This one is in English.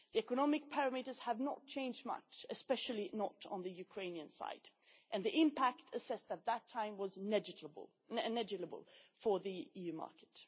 The economic parameters have not changed much, especially not on the Ukrainian side, and the impact assessed at that time was negligible for the EU market.